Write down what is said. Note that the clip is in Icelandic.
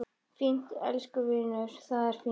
Fínt, elsku vinur, það er fínt.